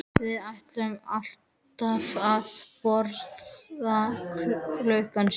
Við ætluðum alltaf að borða klukkan sjö